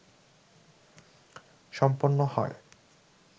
সম্পন্ন হয়